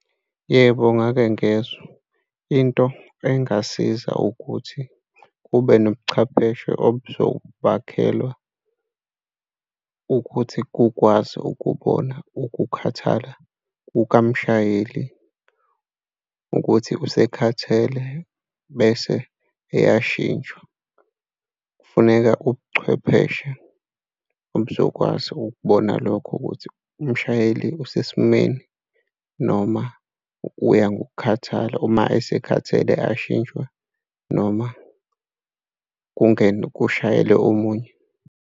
Yebo, ngake ngezwa. Into engasiza ukuthi kube nobuchwepheshe obuzobakhelwa ukuthi kukwazi ukubona ukukhathala kukamshayeli ukuthi usekhathele, bese eyashintshwa. Kufuneka ubuchwepheshe obuzokwazi ukubona lokho ukuthi umshayeli usesimeni noma uya ngokukhathala uma asekhathele, ashintshwe noma kungene, kushayile omunye.